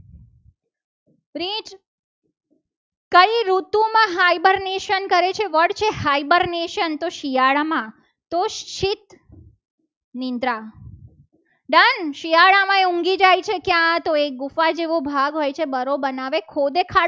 કરે છે. વટ છે. fibrenation તો શિયાળામાં તો સીટ નીંદરા done શિયાળામાં ઊંઘી જાય છે. કે આ તો એક ગુફા જેવો ભાગ હોય છે. બરાબર બનાવે ખોળે